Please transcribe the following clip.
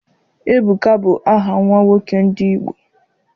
Ebuka bụ aha nwa nwoke ndị Igbo.